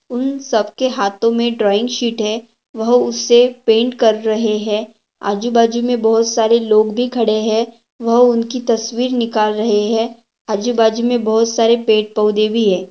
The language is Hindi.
उन सबके हाथों में ड्राइंग शीट है वह उसे पेंट कर रहे हैं आजू बाजू में बहुत सारे लोग भी खड़े हैं वह उनकी तस्वीर निकाल रहे हैं आजू-बाजू में बहुत सारे पेड़ पौधे भी है।